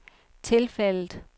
tilfældet